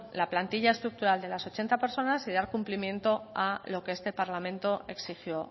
la plantilla estructural de las ochenta personas y dar cumplimiento a lo que este parlamento exigió